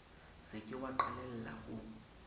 se ke wa qalella ho